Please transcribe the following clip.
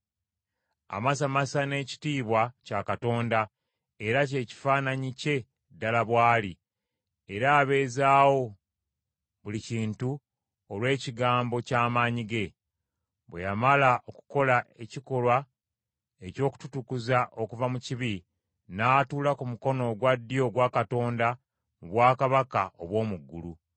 Amasamasa n’ekitiibwa kya Katonda, era ky’ekifaananyi kye ddala bw’ali, era abeezaawo buli kintu olw’ekigambo kye eky’amaanyi. Bwe yamala okukola ekikolwa eky’okututukuza okuva mu bibi, n’atuula ku mukono ogwa ddyo ogwa Katonda mu Bwakabaka obw’omu ggulu.